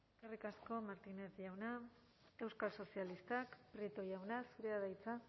eskerrik asko martínez jauna euskal sozialistak prieto jauna zurea da hitza